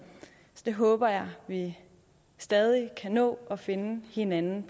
håber jeg vi stadig kan nå at finde hinanden